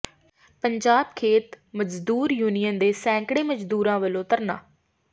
ਪੰਜਾਬ ਖੇਤ ਮਜ਼ਦੂਰ ਯੂਨੀਅਨ ਦੇ ਸੈਂਕੜੇ ਮਜ਼ਦੂਰਾਂ ਵਲੋਂ ਧਰਨਾ